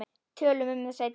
Tölum um það seinna.